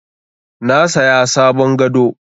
Na saya sabon gado.